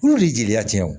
Olu de ye jeliya tiɲɛ